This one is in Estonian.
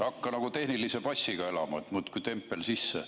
Hakka nagu tehnilise passiga elama, et muudkui tempel sisse.